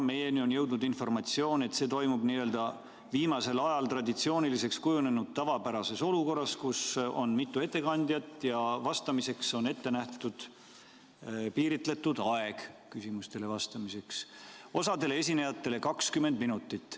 Meieni on jõudnud informatsioon, et see toimub viimasel ajal traditsiooniliseks kujunenud olukorras, kus on mitu ettekandjat ja küsimustele vastamiseks on ette nähtud piiratud aeg, osale esinejatele 20 minutit.